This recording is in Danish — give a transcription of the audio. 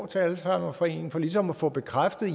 til alzheimerforeningen for ligesom at få bekræftet